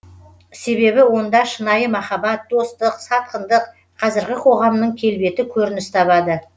себебі онда шынайы махаббат достық сатқындық қазіргі қоғамның келбеті көрініс табады